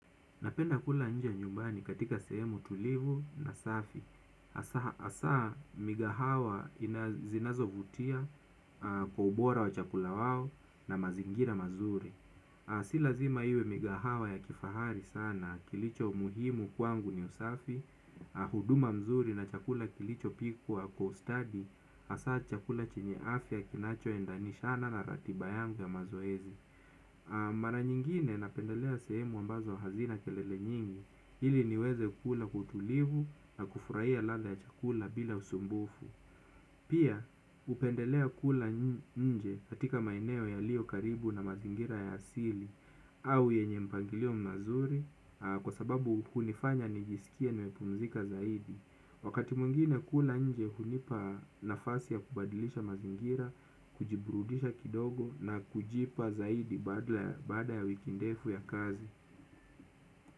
Napenda kula nje ya nyumbani katika sehemu tulivu na safi. Asaa migahawa inazinazo vutia kubora wa chakula wawo na mazingira mazuri. Silazima iwe migahawa ya kifahari sana kilicho umuhimu kwangu ni usafi, huduma mzuri na chakula kilicho pikwa co-study, asaa chakula chenye afya kinacho endanishana na ratiba yangu ya mazoezi. Mara nyingine napendelea sehemu ambazo hazina kelele nyingi. Hili niweze ukula kwa kutulivu na kufurahia lada ya chakula bila usumbufu. Pia upendelea kula nje katika maineo yalio karibu na mazingira ya asili. Au yenye mpangilio mazuri kwa sababu kunifanya nijisikie nimepumzika zaidi. Wakati mwingine kula nje hunipa nafasi ya kubadilisha mazingira, kujiburudisha kidogo na kujipa zaidi baada ya wiki ndefu ya kazi.